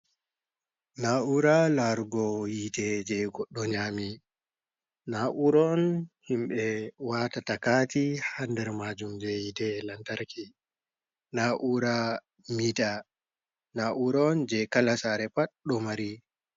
Na ura larugo yite je goɗɗo nyami. Na uron himbe wata takati ha nɗer majum je yite lantarki. Na ura mita na ura on je kala sare pat ɗo mari.